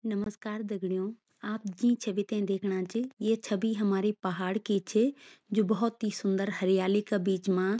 नमस्कार दगड़ियों आप जीं छवि ते देखणा च ये छवि हमारी पहाड़ की च जू बहौत ही सुन्दर हरियाली का बीच मा।